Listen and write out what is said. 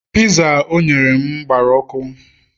Piza o nyere m gbara ọkụ